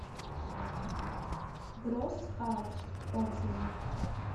гросс хаус отзывы